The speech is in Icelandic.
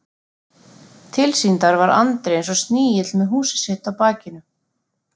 Tilsýndar var Andri eins og snigill með húsið sitt á bakinu.